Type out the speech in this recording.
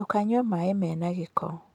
Ndũkanyue maĩ mena gĩko.